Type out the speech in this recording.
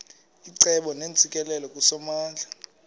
icebo neentsikelelo kusomandla